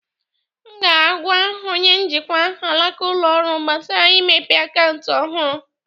M ga-agwa onye njikwa alaka ụlọ ọrụ gbasara imepe akaụntụ ọhụrụ.